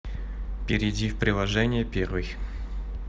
перейди в приложение первый